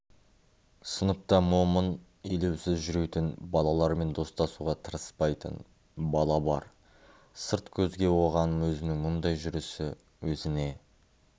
сыныпта момын елеусіз жүретін балалармен достасуға тырыспайтын бала бар сырт көзге оған өзінің мұндай жүрісі өзіне